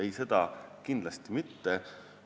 Ei, seda kindlasti mitte.